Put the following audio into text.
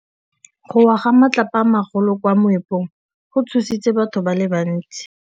Go wa ga matlapa a magolo ko moepong go tshositse batho ba le bantsi.